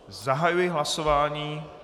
Zahajuji hlasování.